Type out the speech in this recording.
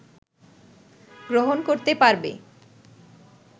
গ্রহণ করতে পারবে